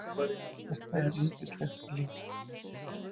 Þetta er yndislegt líf!